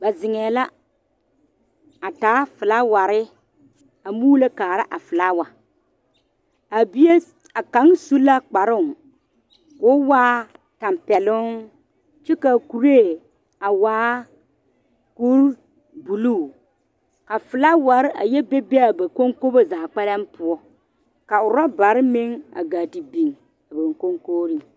Ba zeŋee la a taa felaaware muulo kaara felaawa a bie a kaŋa su la kparoo ko o waa tɛpeloŋ kyɛ kaa kuri a waa bombuluu ka felaaware a yɛ be be a ba kɔŋkɔmbo zaa poɔ ka orɔbare meŋ a taa te biŋ a ba kɔŋkogrii